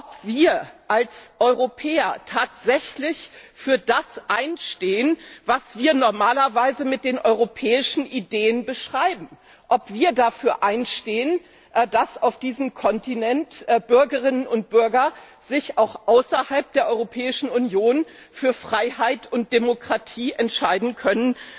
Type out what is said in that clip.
ob wir als Europäer tatsächlich für das einstehen, was wir normalerweise mit den europäischen Ideen verbinden, ob wir dafür einstehen, dass auf diesem Kontinent Bürgerinnen und Bürger sich auch außerhalb der Europäischen Union für Freiheit und Demokratie entscheiden können